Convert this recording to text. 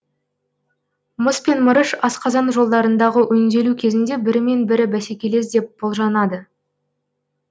мыс пен мырыш асқазан жолдарындағы өңделу кезінде бірімен бірі бәсекелес деп болжанады